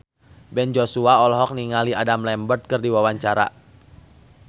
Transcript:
Ben Joshua olohok ningali Adam Lambert keur diwawancara